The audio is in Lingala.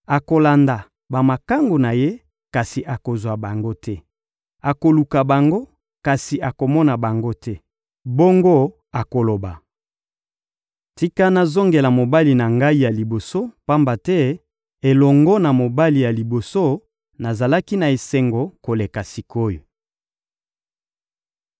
Akolanda bamakangu na ye, kasi akozwa bango te; akoluka bango, kasi akomona bango te. Bongo akoloba: «Tika nazongela mobali na ngai ya liboso; pamba te elongo na mobali ya liboso, nazalaki na esengo koleka sik’oyo!»